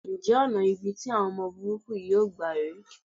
Ǹjẹ́ ọ̀nà ibi tí àwọn ọmọ burúkú yìí yóò gbà rè é?